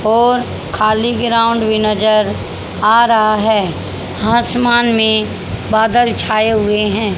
और खाली ग्राउंड भी नजर आ रहा है आसमान में बादल छाए हुए हैं।